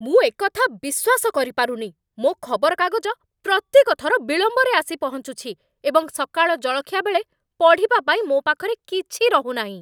ମୁଁ ଏକଥା ବିଶ୍ୱାସ କରିପାରୁନି! ମୋ ଖବରକାଗଜ ପ୍ରତ୍ୟେକ ଥର ବିଳମ୍ବରେ ଆସି ପହଞ୍ଚୁଛି, ଏବଂ ସକାଳ ଜଳଖିଆ ବେଳେ ପଢ଼ିବା ପାଇଁ ମୋ ପାଖରେ କିଛି ରହୁନାହିଁ।